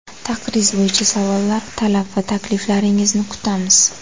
Taqriz bo‘yicha savollar, talab va takliflaringizni kutamiz!